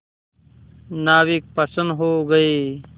नाविक प्रसन्न हो गए